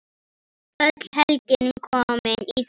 Öll helgin komin í þrot.